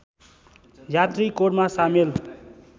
यात्री कोरमा सामेल